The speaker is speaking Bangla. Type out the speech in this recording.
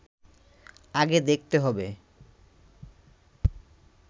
আগে দেখতে হবে